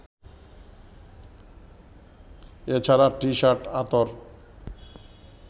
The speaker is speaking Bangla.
এছাড়া টিশার্ট, আতর